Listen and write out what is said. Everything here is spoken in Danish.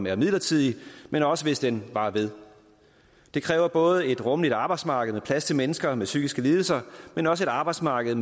er midlertidig men også hvis den varer ved det kræver både et rummeligt arbejdsmarked med plads til mennesker med psykiske lidelser men også et arbejdsmarked